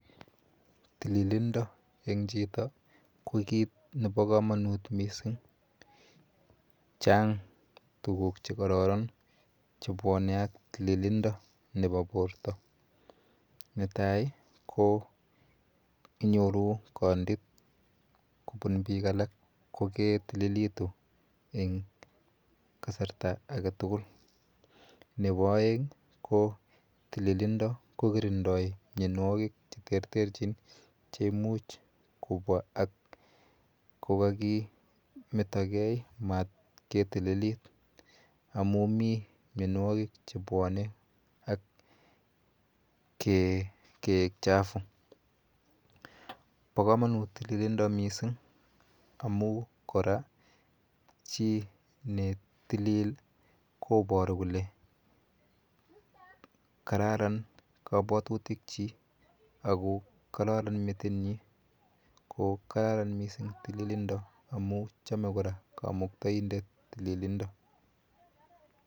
Tililindo eng chito ki kit nepo komonut mising. Chang tuguk chekororon chebwone ak tililindo nepo porto, netai ko inyoru kondit kobun biik alak koketililitu eng kasarta aketugul. Nepo oeng ko tililindo kokirindoi mienwokik cheterterchin cheimuch kobwa ak kokakimetogei mat ketililit amu mi mienwokikchebwone ak keek chafu. Po komonut tililindo mising amu kora chi netilil koboru kole kararan kabwatutikchi ako kararan metinyi ko kararan mising tililindo amu chome kora kamuktaindet tililindo.